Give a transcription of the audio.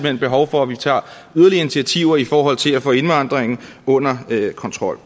er behov for at vi tager yderligere initiativer i forhold til at få indvandringen under kontrol